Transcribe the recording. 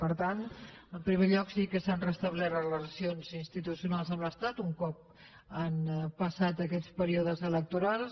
per tant en primer lloc sí que s’han restablert les relacions institucionals amb l’estat un cop han passat aquests períodes electorals